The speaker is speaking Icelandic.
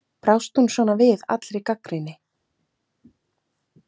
Brást hún svona við allri gagnrýni?